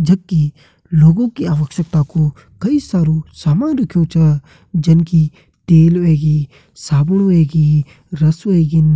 जबकि लोगों की अवश्यकताओं कु कई सारू सामान रखयूं छा जन की तेल हुयेगी साबुन हुयेगी रस हुयेगीं